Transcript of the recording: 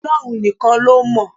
Ọlọ́run nìkan ló mọ̀.